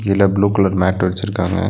இதுல blue colour mat விரிச்சிருக்காங்க.